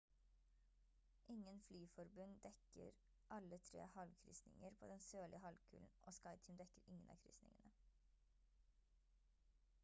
ingen flyforbund dekker alle tre havkryssinger på den sørlige halvkulen og skyteam dekker ingen av krysningene